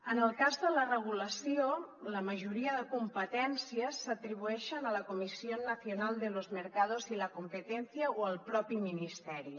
en el cas de la regulació la majoria de competències s’atribueixen a la comisión nacional de los mercados y la competencia o al propi ministeri